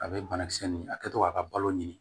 A bɛ banakisɛ nin a kɛtɔ k'a ka balo ɲini